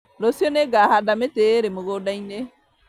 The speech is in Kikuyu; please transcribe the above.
Rũciũ nĩngahanda mĩtĩ ĩrĩ mũgũnda-inĩ